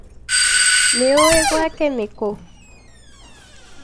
Nĩ ũĩ gwake nikũ?